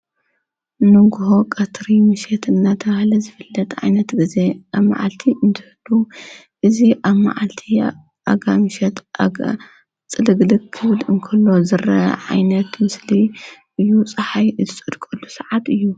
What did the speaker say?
ንግሆ ቐትሪ ምሸት እናተ ብሃለ ዝፍለጥ ዓይነት ጊዜ ኣብ መዓልቲ እንትህዱ እዙ ኣብ መዓልቲ ኣጋ ምሸት ጽድግድ ክብድ እንከሎ ዘረ ዓይነት ምስሊ እዩ ፀሓይ እትጽድቀሉ ሰዓት እዩ።